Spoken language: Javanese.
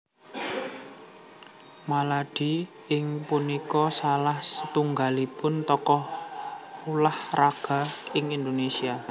R Maladi inggih punika salah satunggalipun tokoh ulah raga Indonésia